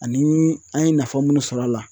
Ani an ye nafa munnu sɔrɔ a la.